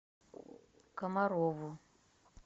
комарову